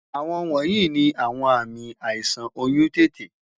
Awọn wọnyi ni awọn aami aisan ti oyun tete